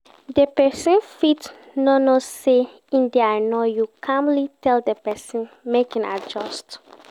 Di persin fit no know sey in de annoy you calmly tell di persin make in adjust